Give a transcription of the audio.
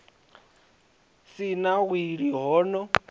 si na wili ho no